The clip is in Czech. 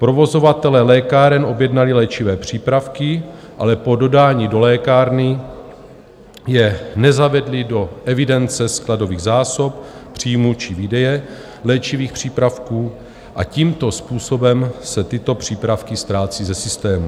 Provozovatelé lékáren objednali léčivé přípravky, ale po dodání do lékárny je nezavedli do evidence skladových zásob, příjmů či výdeje léčivých přípravků, a tímto způsobem se tyto přípravky ztrácí ze systému.